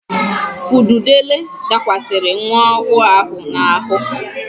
Ududele dakwasịrị nwa ọhụụ ahụ n'ahụ.